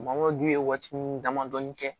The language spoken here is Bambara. Mangoro dun ye waatinin damadɔni kɛ